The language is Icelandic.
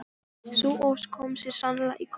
Sú ósk kom þér sannarlega í koll.